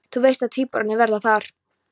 Þú veist að tvíburarnir verða þar